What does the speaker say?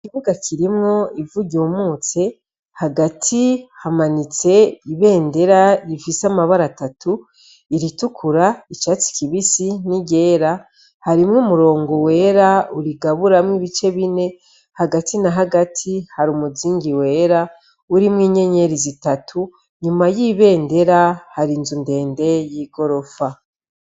Ikibuga kirimwo ivugye uumutse hagati hamanitse ibendera rifise amabara atatu iritukura icatsi kibisi n'i rera harimwo umurongo wera urigaburamwo ibice bine hagati na hagati hari umuzingi wera urimwo inyenyeri zitatu ne ma y'ibendera hari inzu ndende y'i gorofa.